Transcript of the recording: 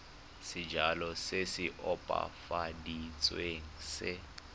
sejalo se se opafaditsweng se